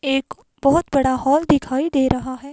एक बहुत बड़ा हॉल दिखाई दे रहा है।